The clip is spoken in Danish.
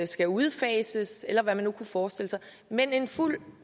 skal udfases eller hvad man nu kunne forestille sig men en fuldt